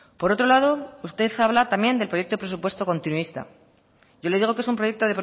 por otro lado usted habla también del proyecto de presupuesto continuista yo le digo que es un proyecto